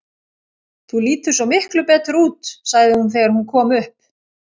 Þú lítur svo miklu betur út, sagði hún þegar hún kom upp.